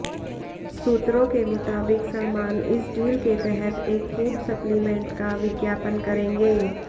सूत्रों के मुताबिक सलमान इस डील के तहत एक फूड सप्लीमेंट का विज्ञापन करेंगे